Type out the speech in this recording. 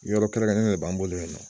Yɔrɔ kɛrɛn kɛrɛnnen ne b'an bolo yen nɔ